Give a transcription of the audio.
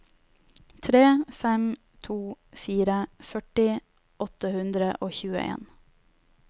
tre fem to fire førti åtte hundre og tjueen